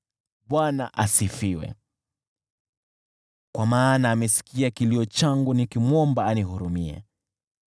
Bwana asifiwe, kwa maana amesikia kilio changu nikimwomba anihurumie.